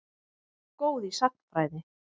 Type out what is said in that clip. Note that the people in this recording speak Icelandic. Góð í sagnfræði.